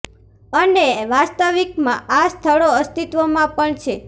અને વાસ્તવિક માં આ સ્થળો અસ્તિત્વ માં પણ છે